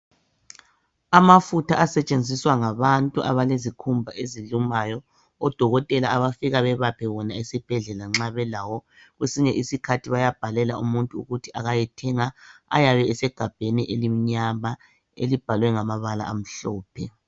Amafutha asetshenziswa ngabantu abalezikhumba ezilumayo, odokotela abafika bebaphe wona ezibhedlela nxa belawo kwesinye isikhathi bayabhalela umuntu ukuthi ayethenga. Ayabe esegabheni elimnyama elibhalwe ngamabala amhlophe.